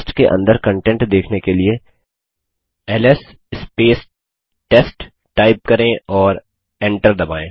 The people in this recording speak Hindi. टेस्ट के अंदर कन्टेंट देखने के लिए एलएस टेस्ट टाइप करें और एंटर दबायें